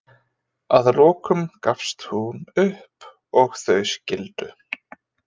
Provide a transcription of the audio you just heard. Að lokum gafst hún upp og þau skildu.